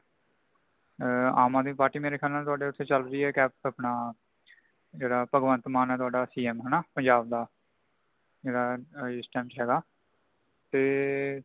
ਆਂ ਆਮ ਆਦਮੀ party ਮੇਰੇ ਖ਼ਯਾਲ ਨਾਲ ਤੁਹਾਡੇ ਓਥੇ ਚਲ ਰਹੀ ਹੈ ਕੈਪ ਅਪਣਾ ਜੇੜਾ ਭਗਵੰਤ ਮਾਨ ਹੈ ਤੁਹਾਡਾ C.M ਹੋਣਾ ਪੰਜਾਬ ਦਾ ਜੇੜ੍ਹਾ ਇਸ time ਚ ਹੇਗਾ |ਤੇ